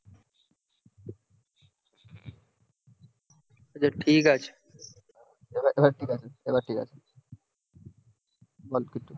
ঠিক আছে এবার ঠিক আছে